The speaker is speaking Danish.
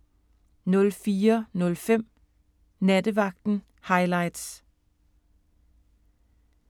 04:05: Nattevagten Highlights